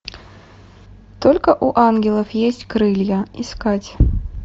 только у ангелов есть крылья искать